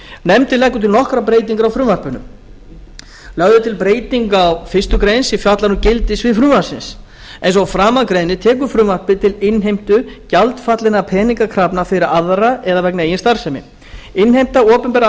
nefndin leggur til nokkrar breytingar á frumvarpinu lögð er til breyting á fyrstu grein sem fjallar um gildissvið frumvarpsins eins og að framan greinir tekur frumvarpið til innheimtu gjaldfallinna peningakrafna fyrir aðra eða vegna eigin starfsemi innheimta opinberra